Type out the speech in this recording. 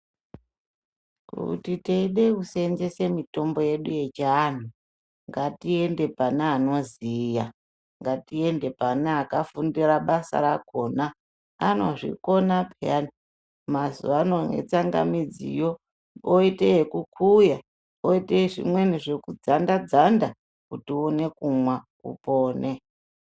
Kuti teida kuseenzese mitombo yedu yechiantu ngatiende pane anoziya ngatiende pane akafundira basa rakona anozvikona peyani mazuvaano netsangamidziyo oite yekukuya oite zvimweni zvekudzanda dzanda kuti uone kumwa.